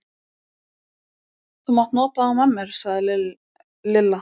Þú mátt nota þá með mér sagði Lilla.